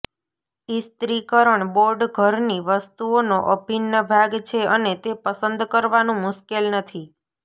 ઇસ્ત્રીકરણ board ઘરની વસ્તુઓનો અભિન્ન ભાગ છે અને તે પસંદ કરવાનું મુશ્કેલ નથી